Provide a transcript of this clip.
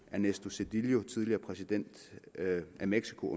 ernesto zedillo tidligere præsident i mexico